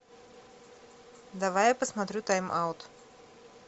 давай я посмотрю тайм аут